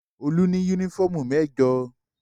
Olú ní únífọ́ọ́mù mẹ́jọ.